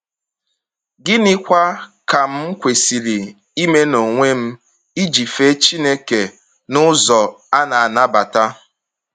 ‘Gịnịkwa ka m kwesịrị ime n’onwe m iji fee Chineke n’ụzọ a na-anabata?